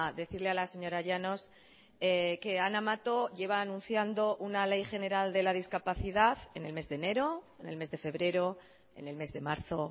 decirle a la señora llanos que ana mato lleva anunciando una ley general de la discapacidad en el mes de enero en el mes de febrero en el mes de marzo